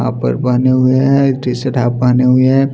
यहां पर बने हुए हैं टी_शर्ट हाफ पहने हुए हैं।